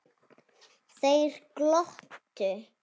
Þeir glottu.